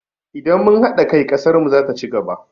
Idan mun haɗa kai, ƙasar mu zata ci gaba.